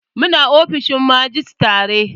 Mu na ofishin majistare